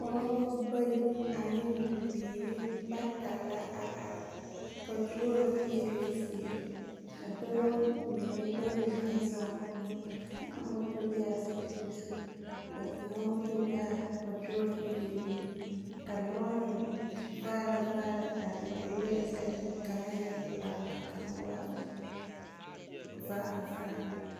Pɔgebɔ bayi ane bibiiri bata la a are, paturoo feeloo zie, ka dɔbɔ mine bayi meŋ zɔŋ moto, a moto bee a sobiri zu. Ka kaŋa moto be a paturoo feeloo zie. Ka lɔɔre vaare vaare are be lɔɛ ayi ka kaŋa e pelaa ka kaŋa waa vaare vaare.